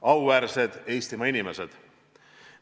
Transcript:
Auväärsed Eestimaa inimesed!